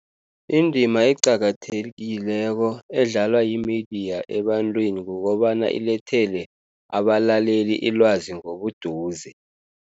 Indima eqakathekileko edlalwa yimidiya ebantwini kukobana ilethele abalaleli ilwazi ngobuduze.